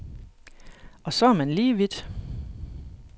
Og så er man lige vidt.